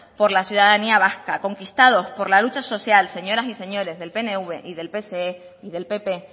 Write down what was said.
por la ciudadanía vasca conquistados por la lucha social señoras y señores del pnv y del pse y del pp